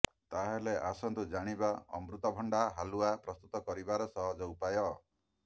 ତାହେଲେ ଆସନ୍ତୁ ଜାଣିବା ଅମୃତଭଣ୍ଡା ହାଲୁଆ ପ୍ରସ୍ତୁତ କରିବାର ସହଜ ଉପାୟ